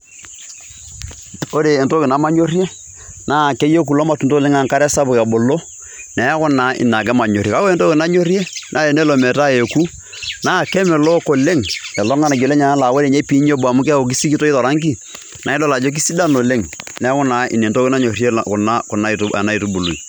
Ore entoki nemanyorie naa keyeu kulo matunda oleng' enkare sapuk ebulu, neeku naa ina ake manyorie. Kake ore entoki nanyorie naa enelo metaa eeku naa kemelok oleng' lilo ng'anayio lenyenak enaa ore nye piinya obo amu keeku sikitoi to rangi, nae idol ajo kesidai oleng'. Neeku naa ina entoki nanyorie kuna ena aitubului.